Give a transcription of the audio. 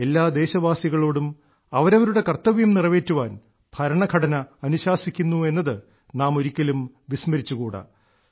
എല്ലാ ദേശവാസികളോടും അവരവരുടെ കർത്തവ്യം നിറവേറ്റുവാൻ ഭരണഘടന അനുശാസിക്കുന്നു എന്നത് നാം ഒരിക്കലും വിസ്മരിച്ചുകൂടാ